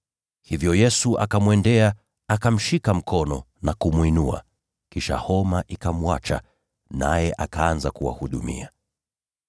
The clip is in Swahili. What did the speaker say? Hivyo Yesu akamwendea, akamshika mkono na kumwinua. Kisha homa ikamwacha, naye akaanza kuwahudumia.